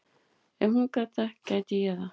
Ef hún gat það, gæti ég það.